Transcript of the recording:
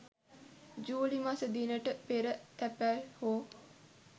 ජූලි මස දිනට පෙර තැපැල් හෝ